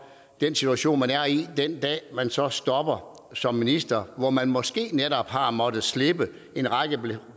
den situation man er i den dag man så stopper som minister hvor man måske netop har måttet slippe en række